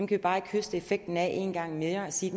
vi bare ikke høste effekten af en gang mere og sige